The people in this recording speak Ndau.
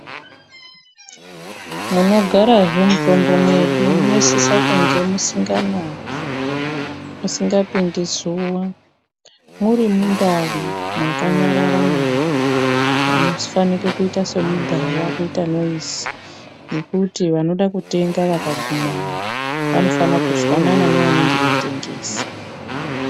Munogarazve mutombo mwedu munosisa kunga musinganayi ,musingapindi zuwa muri mundau mwakanyarara nyarara. Amufaniri kuita semubhawa kuita noizi ngekuti vanoda kutenga vakagumamwo vanofana kuzwanana neanenge eitengesa.